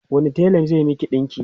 wani tela zai Miki ɗinki?